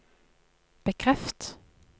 bekreft